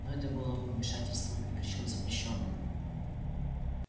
но это было бы вмешательством и причём запрещённым